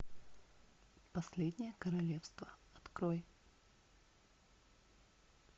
последнее королевство открой